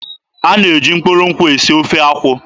A na-eji mkpụrụ nkwụ esi ofe akwụ.